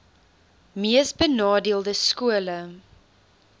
mees benadeelde skole